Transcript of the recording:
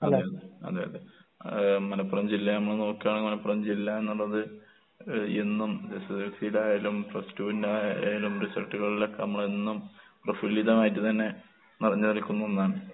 അതെ അതെ, അതെ അതെ. ഏഹ് മലപ്പുറം ജില്ല നമ്മള് നോക്ക്കാണെങ്കിൽ മലപ്പുറം ജില്ലാ എന്നുള്ളത് ഏഹ് എന്നും എസ്എസ്എൽസിടെ ആയാലും പ്ലസ് ടുവിന്റെ ആയാലും റിസൾട്ടുകളിലൊക്കെ നമ്മളെന്നും പ്രഫുല്ലിതം ആയിട്ട് തന്നെ നിറഞ്ഞ് നിൽക്കുന്ന ഒന്നാണ്.